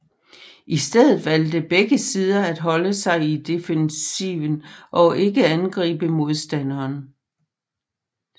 I stedet valgte begge sider at holde sig i defensiven og ikke angribe modstanderen